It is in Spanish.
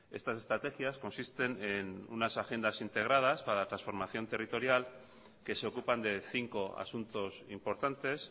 estas estrategias consisten en una agendas integradas para la transformación territorial que se ocupan de cinco asuntos importantes